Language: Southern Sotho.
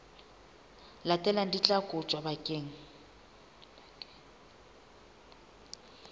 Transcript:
latelang di tla kotjwa bakeng